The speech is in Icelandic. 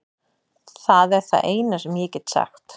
Það er það eina sem ég get sagt.